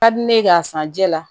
Ka di ne k'a san jɛ la